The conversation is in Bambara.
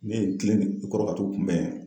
Ne ye n kilen de u kɔrɔ ka t'u kunbɛn.